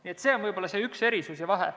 Nii et see on võib-olla see üks erisus ja vahe.